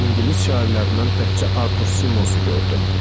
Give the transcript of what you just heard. İngilis şairlərindən təkcə Artur Simonsu gördüm.